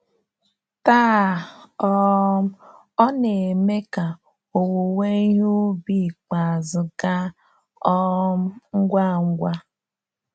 Taa, um ọ ọ na-eme ka owuwe ihe ubi ikpeazụ gaa um ngwa ngwa.